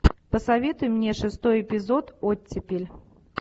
посоветуй мне шестой эпизод оттепель